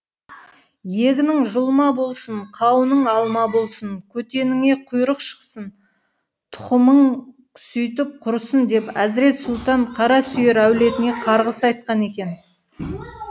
егінің жұлма болсын қауының алма болсын көтеніңе құйрық шықсын тұқымың сөйтіп құрысын деп әзірет сұлтан қарасүйір әулетіне қарғыс айтқан екен